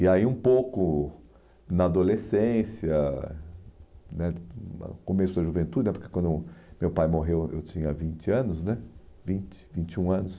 E aí um pouco na adolescência né, hum ah, começo da juventude né, porque quando meu pai morreu eu tinha vinte anos né, vinte, vinte e um anos.